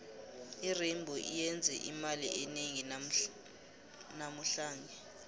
irainbow iyenze imali enengi namuhlange